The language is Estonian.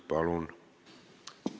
Palun!